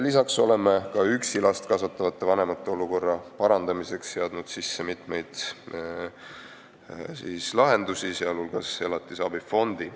Lisaks oleme ka üksi last kasvatavate vanemate olukorra parandamiseks seadnud sisse mitmeid lahendusi, sh elatisabifondi.